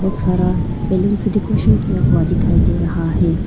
सारा बैलून से डेकोरेसन किया हुआ दिखाई दे रहा है।